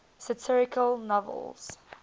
satirical novels